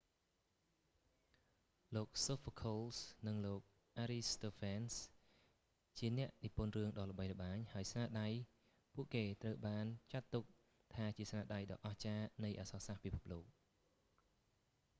លោក sophocles និង លោក aristophanes ជាអ្នកនិពន្ធរឿងដ៏ល្បីល្បាញ ហើយស្នាដៃពួកគេត្រូវបានចាត់ទុកថាជាស្នាដៃដ៏អស្ចារ្យនៃអក្សរសាស្រ្តពិភពលោក